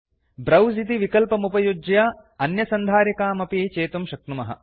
browse इति विकल्पमुपयुज्य अन्यसन्धारिकामपि चेतुं शक्नुमः